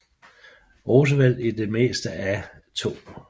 Roosevelt i det meste af 2